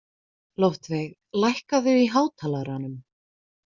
Loftveig, lækkaðu í hátalaranum.